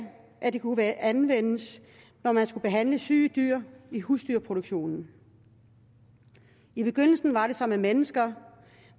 at det kunne anvendes når man skulle behandle syge dyr i husdyrproduktionen i begyndelsen var det som med mennesker